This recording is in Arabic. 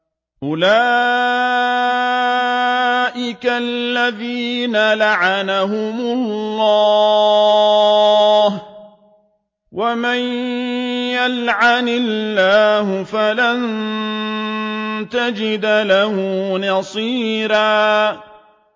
أُولَٰئِكَ الَّذِينَ لَعَنَهُمُ اللَّهُ ۖ وَمَن يَلْعَنِ اللَّهُ فَلَن تَجِدَ لَهُ نَصِيرًا